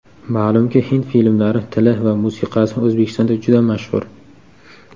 Ma’lumki, hind filmlari, tili va musiqasi O‘zbekistonda juda mashhur.